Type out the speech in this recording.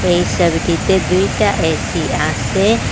এই সবিটিতে দুইটা এ_সি আসে।